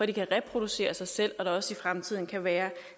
de kan reproducere sig selv og så der også i fremtiden kan være